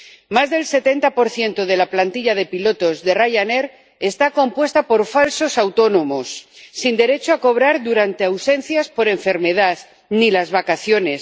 Más del 70 de la plantilla de pilotos de Ryanair está compuesta por falsos autónomos, sin derecho a cobrar durante ausencias por enfermedad, ni las vacaciones.